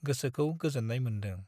गोसोखौ गोजोन्नाय मोन्दों।